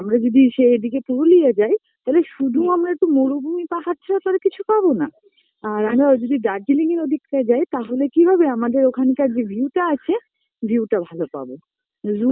আমরা যদি সে এই দিকে পুরুলিয়া যাই তালে শুধু আমরা একটু মরুভূমি পাহাড় ছাড়া তো আর কিছু পাবো না